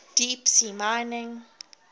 deep sea mining